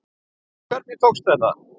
Hvernig tókst þetta?